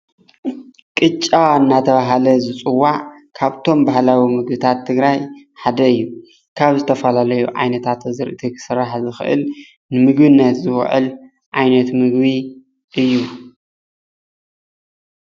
ቅጫ እናተባሃለ ዝፅዋዕ ካብቶም ባህላዊ ምግብታት ትግራይ ሓደ እዩ፡፡ ካብ ዝተፈላለዩ ዓይነታት ኣዝርእቲ ክስራሕ ዝክእል ንምግብነት ዝውዕል ዓይነት ምግቢ እዩ፡፡